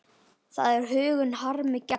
Það er huggun harmi gegn.